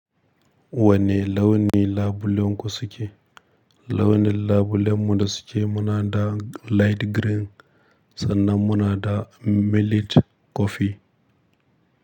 Wanne launi labulen ku suke? Launi nlabulen mu da suke muna da light green sannan muna da millet kofi.